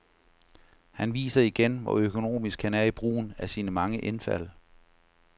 Han viser igen, hvor økonomisk han er i brugen af sine mange indfald.